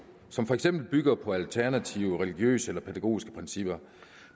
som for eksempel bygger på alternative religiøse eller pædagogiske principper